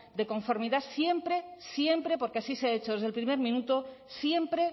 de conformidad siempre porque así se ha hecho desde el primer minuto siempre